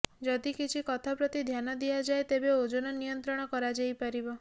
ଯଦି କିଛି କଥା ପ୍ରତି ଧ୍ୟାନ ଦିଆଯାଏ ତେବେ ଓଜନ ନିୟନ୍ତ୍ରଣ କରାଯାଇପାରିବ